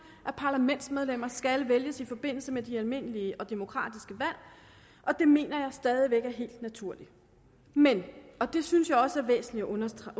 at parlamentsmedlemmer skal vælges i forbindelse med de almindelige og demokratiske valg og det mener jeg stadig væk er helt naturligt men og det synes jeg også er væsentligt at understrege